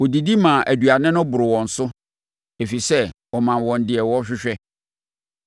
Wɔdidi maa aduane no boroo wɔn so ɛfiri sɛ ɔmaa wɔn deɛ wɔhwehwɛ.